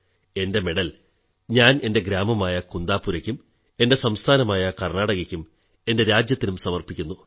എന്റെ മെഡൽ ഞാൻ എന്റെ ഗ്രാമമായ കുന്ദാപുരയ്ക്കും എന്റെ സംസ്ഥാനമായ കർണാടകയ്ക്കും എന്റെ രാജ്യത്തിനും സമർപ്പിക്കുന്നു